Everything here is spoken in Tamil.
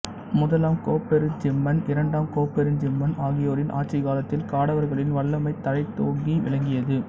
முதலாம் கோப்பெருஞ்சிம்மன் இரண்டாம் கோப்பெருஞ்சிம்மன் ஆகியோரின் ஆட்சிக் காலத்தில் காடவர்களின் வல்லமை தழைத்தோங்கி விளங்கியது